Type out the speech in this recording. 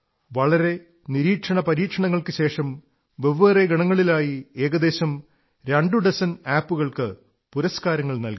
വളരെ നിരീക്ഷണ പരീക്ഷണങ്ങൾക്കുശേഷം വെവ്വേറെ ഗണങ്ങളിലായി ഏകദേശം രണ്ടു ഡസൻ ആപ് കൾക്ക് പുരസ്കാരങ്ങൾ നല്കി